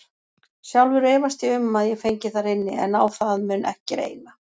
Sjálfur efast ég um að ég fengi þar inni, en á það mun ekki reyna.